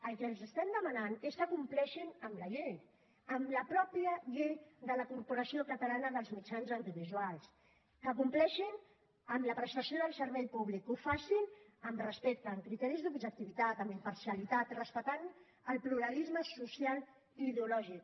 el que els estem demanant és que compleixin amb la llei amb la pròpia llei de la corporació catalana dels mitjans audiovisuals que compleixin amb la prestació del servei públic que ho facin amb respecte amb criteris d’objectivitat amb imparcialitat respectant el pluralisme social i ideològic